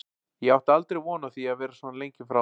Ég átti aldrei von á því að vera svona lengi frá.